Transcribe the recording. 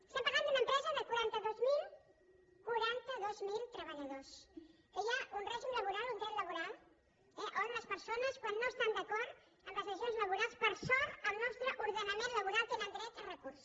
estem parlant d’una empresa de quatre cents i vint miler quaranta dos mil treballadors que hi ha un règim laboral un dret laboral on les persones quan no estan d’acord amb les decisions laborals per sort al nostre ordenament laboral tenen dret a recurs